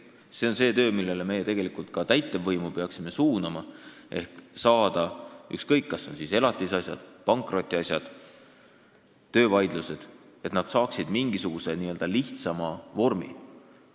See on see eesmärk, mille poole me tegelikult ka täitevvõimu peaksime suunama: elatisasjade, pankrotiasjade ja töövaidluste lahendamine peaks saama mingisuguse lihtsama vormi.